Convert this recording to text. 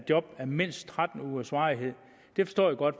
job af mindst tretten ugers varighed det forstår jeg godt